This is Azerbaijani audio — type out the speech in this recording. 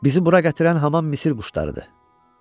Bizi bura gətirən hamam Misir quşlarıdır.